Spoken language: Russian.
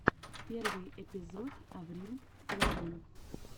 первый эпизод аврил лавин